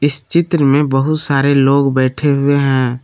इस चित्र में बहुत सारे लोग बैठे हुए हैं।